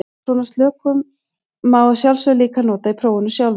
Svona slökun má að sjálfsögðu líka nota í prófinu sjálfu.